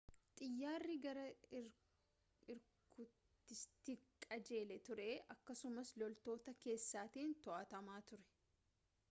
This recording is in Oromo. xiyyaarri gara irkuutiskiitti qajeelee ture akkasumas loltoota keessatiin to'atamaa ture